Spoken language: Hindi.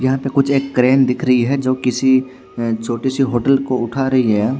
यहाँ पे कुछ एक क्रेन दिख रही है जो किसी छोटी सी होटल को उठा रही है।